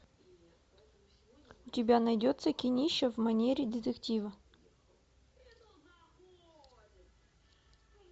у тебя найдется кинище в манере детектива